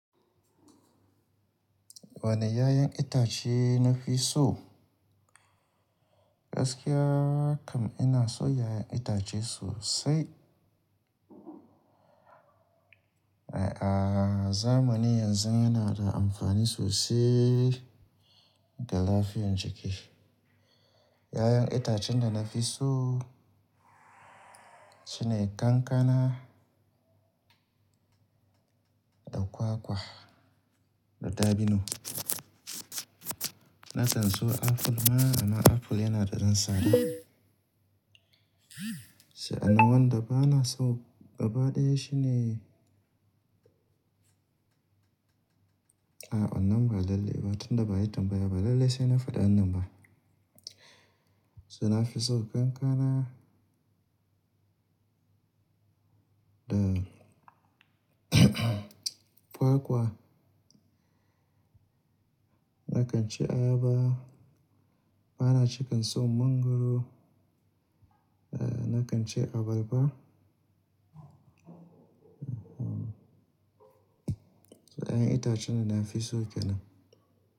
Wane 'ya'yan itace na fi so? Gaskiya kam ina so 'ya'yan itace sosai. A'a, zamani yanzu yana da amfani sosai ga lafiyar jiki. 'Ya'yan itacen da na fi so shine kankana da kwakwa da dabino. Na can so aful ma amma aful yana da zan sada. Sa'an nan wanda bana so gaba ɗaya shine A'a wannan ba lalle ba, tun da baya tambaya ba lallai sai na faɗi wannan ba. So na fi so kankana da kwakwa. Nakan ci ayaba. Bana cika in so mangwaro. Eh, nakan ci abarba. So 'ya'yan itace da na fi so ke nan.